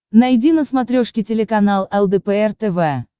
найди на смотрешке телеканал лдпр тв